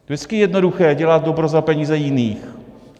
Vždycky je jednoduché dělat dobro za peníze jiných.